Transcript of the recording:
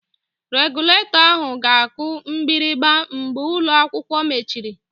Regụlatọ ahụ ga-aku mgbịrịgba mgbe ụlọ akwụkwọ mechiri